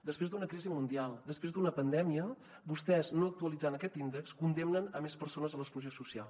després d’una crisi mundial després d’una pandèmia vostès no actualitzant aquest índex condemnen més persones a l’exclusió social